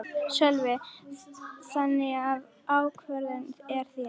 Sölvi: Þannig að ákvörðunin er þín?